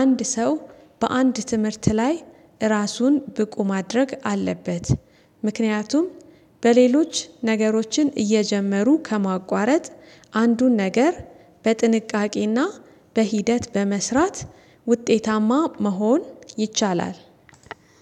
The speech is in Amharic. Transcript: አንድ ሰው በአንድ ትምህርት ላይ ራሱን ብቁ ማድረግ አለበት። ምክንያቱም በሌሎች ነገሮችን እየጀመሩ ከማቋረጥ አንዱን ነገር በጥንቃቄና በሂደት በመስራት ውጤታማ መሆን ይቻላል